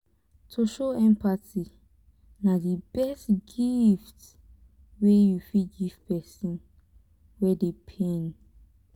to show empathy na di best gift wey you fit give pesin wey dey pain.